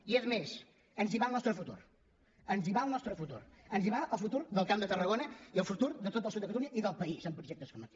i és més ens hi va el nostre futur ens hi va el nostre futur ens hi va el futur del camp de tarragona i el futur de tot el sud de catalunya i del país en projectes com aquest